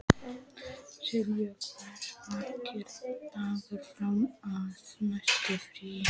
Silvía, hversu margir dagar fram að næsta fríi?